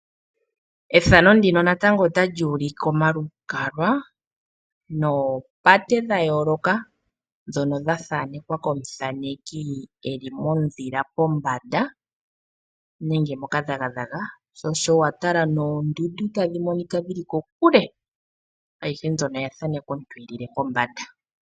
Methano ndino natango otali ulike omalukalwa, noo pate dha yooloka, ndhona dha thaanekwa ko muthaneki, eli mondhila pombanda nenge moka dhagadhaga, sho osho watala noondundu tadhi monika dhili kokule. Ayihe mbyono oya thaanekwa komuntu eli pombanda.